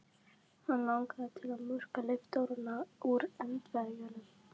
Hann langaði til að murka líftóruna úr Indverjanum.